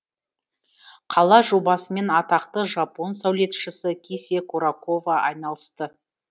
қала жобасымен атақты жапон сәулетшісі кисе курокава айналысты